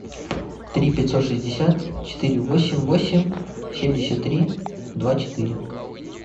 три пятьсот шестьдесят четыре восемь восемь семьдесят три два четыре